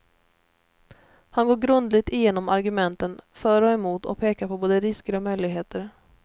Han går grundligt igenom argumenten för och emot, och pekar på både risker och möjligheter.